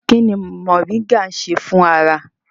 Kí ni moringa ń ṣe fún ara?